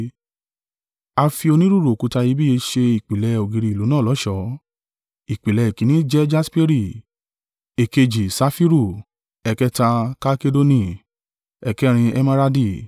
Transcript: A fi onírúurú òkúta iyebíye ṣe ìpìlẹ̀ ògiri ìlú náà lọ́ṣọ̀ọ́. Ìpìlẹ̀ èkínní jẹ́ jasperi; èkejì, safiru; ẹ̀kẹta, kalkedoni; ẹ̀kẹrin, emeradi;